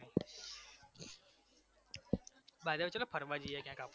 સારુ ચલો ફરવા જઈએ ક્યાક આપણે